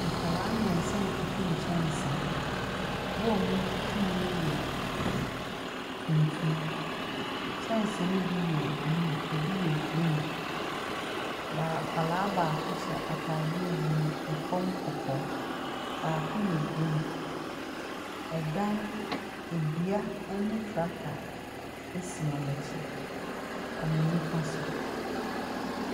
Nkwadaa mmiɛnsa retwitwi nkyɛnsee ho. Bowl a wɔretwitwi mu no yɛ tuntum. Kyɛnsee no bi yɛ blue, ebi yɛ green. Baa akwadaa baako hyɛ ataadeɛ blue ɛfam kɔkɔɔ. Baako yɛ green. ℇdan edua ne tractor si wɔn akyi, wɔn nnifa so.